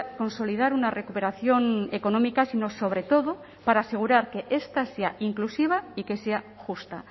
consolidar una recuperación económica sino sobre todo para asegurar que esta sea inclusiva y que sea justa